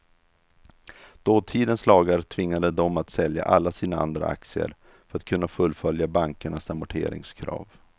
Dåtidens lagar tvingade dem att sälja alla sina andra aktier för att kunna fullfölja bankernas amorteringskrav.